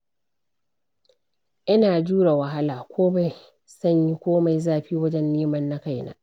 Ina jure wahala komai sanyi komai zafi, wajen neman na kaina.